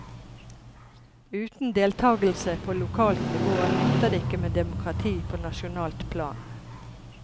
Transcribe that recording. Uten deltakelse på lokalt nivå nytter det ikke med demokrati på nasjonalt plan.